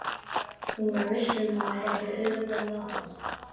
Hún var viss um að hún gæti auðveldlega náð þeim.